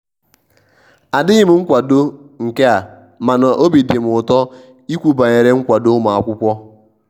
adighi m nkwado nke amana obi dim ụtọ ikwu banyere nkwado ụmụakwụkwọ.